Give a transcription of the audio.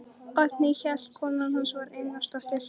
Oddný hét kona hans og var Einarsdóttir.